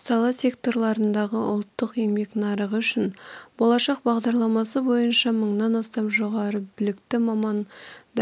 сала секторларындағы ұлттық еңбек нарығы үшін болашақ бағдарламасы бойынша мыңнан астам жоғары білікті маман